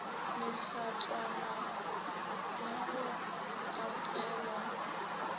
le hlatswana ya go katelwa